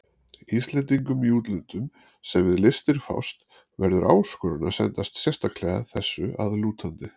Íslendingum í útlöndum, sem við listir fást, verður áskorun að sendast sérstaklega þessu að lútandi.